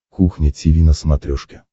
кухня тиви на смотрешке